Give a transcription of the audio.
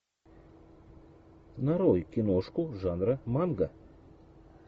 нарой киношку жанра манга